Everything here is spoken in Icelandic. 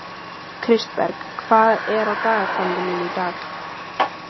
Kristberg, hvað er á dagatalinu mínu í dag?